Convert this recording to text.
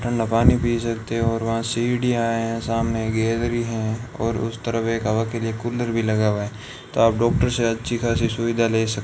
ठंडा पानी पी सकते हो और वहां सीढ़ियां हैं सामने गैलरी हैं और उस तरफ एक हवा के लिए कूलर भी लगा हुआ है तो आप डॉक्टर से अच्छी खासी सुविधा ले सक--